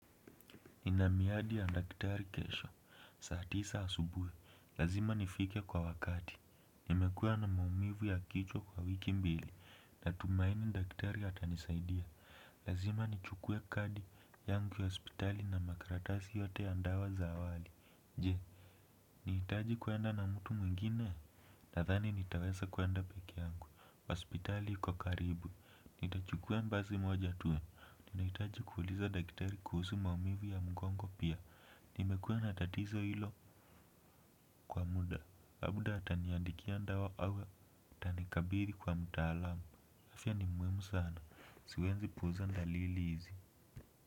Nina miadi ya daktari kesho, saa tisa asubuhi, lazima nifike kwa wakati, nimekuwa na maumivu ya kichwa kwa wiki mbili, natumaini daktari atanisaidia, lazima nichukue kadi yangu ya hospitali na makaratasi yote ya dawa za awali, je nihitaji kuenda na mtu mwingine nadhani nitaweza kuenda peke yangu hospitali kwa karibu. Nitachukua basi moja tu. Ninahitaji kuuliza daktari kuhusu maumivu ya mgongo pia. Nimekuwa na tatizo hilo kwa muda. Labda ataniandikia dawa au atanikabiri kwa mtaalamu. Afya ni muhimu sana. Siwezi puuza dalili hizi.